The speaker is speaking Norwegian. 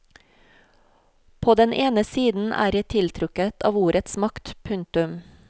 På den ene siden er jeg tiltrukket av ordets makt. punktum